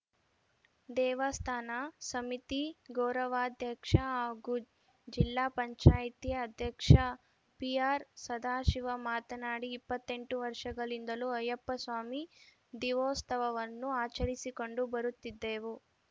ದೇವಸ್ಥಾನ ಸಮಿತಿ ಗೌರವಾಧ್ಯಕ್ಷ ಹಾಗೂ ಜಿಲ್ಲಾಪಂಚಾಯತಿ ಅಧ್ಯಕ್ಷ ಪಿಆರ್‌ ಸದಾಶಿವ ಮಾತನಾಡಿ ಇಪ್ಪತ್ತೆಂಟು ವರ್ಷಗಳಿಂದಲೂ ಅಯ್ಯಪ್ಪಸ್ವಾಮಿ ದೀವೊತ್ಸವವನ್ನು ಆಚರಿಸಿಕೊಂಡು ಬರುತ್ತಿದ್ದೇವು